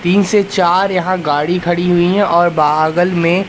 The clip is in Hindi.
तीन से चार यहां गाड़ी खड़ी हुई है और बागल में--